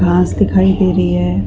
घास घास दिखाई दे रही है।